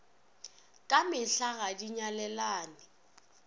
ka mehla ga di nyalelane